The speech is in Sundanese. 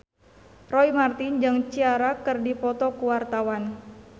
Roy Marten jeung Ciara keur dipoto ku wartawan